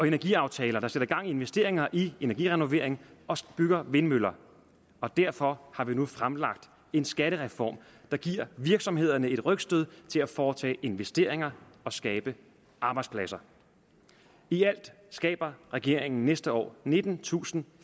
energiaftaler der sætter gang i investeringer i energirenovering og bygger vindmøller og derfor har vi nu fremlagt en skattereform der giver virksomhederne et rygstød til at foretage investeringer og skabe arbejdspladser i alt skaber regeringen næste år nittentusinde